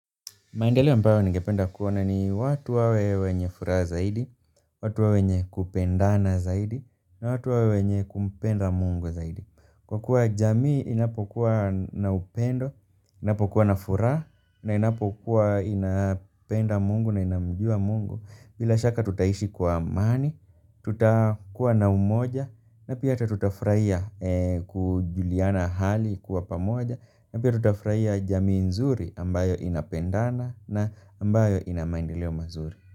Maendeleo ambayo ningependa kuona ni watu wawe wenye furaha zaidi, watu wawe wenye kupendana zaidi, na watu wawe wenye kumpenda Mungu zaidi. Kwa kuwa jamii inapokuwa na upendo, inapokuwa na furaha, na inapokuwa inapenda Mungu na inamjua Mungu. Bila shaka tutaishi kwa amani, tuta kuwa na umoja na pia ata tutafurahia kujuliana hali kwa pamoja na pia tutafurahia jamii nzuri ambayo inapendana na ambayo ina mandeleo mazuri.